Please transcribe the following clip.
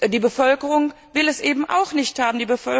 Die Bevölkerung will es eben auch nicht haben.